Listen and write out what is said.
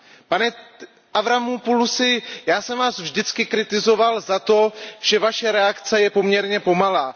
Pane Avramopoulusi, já jsem vás vždycky kritizoval za to, že vaše reakce je poměrně pomalá.